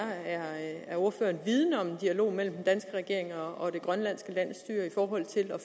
er ordføreren vidende om en dialog mellem den danske regering og det grønlandske landsstyre i forhold til at